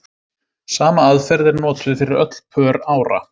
Sama aðferð er notuð fyrir öll pör ára.